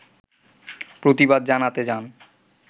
প্রতিবাদ জানাতে যান